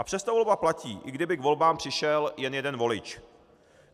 A přesto volba platí, i kdyby k volbám přišel jen jeden volič.